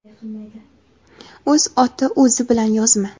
O‘z oti o‘zi bilan yozma.